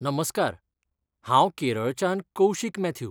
नमस्कार, हांव केरळच्यान कौशिक मॅथ्यू.